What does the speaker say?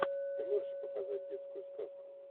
ты можешь показать детскую сказку